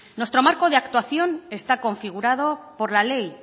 nuestro marco de actuación está configurado por la ley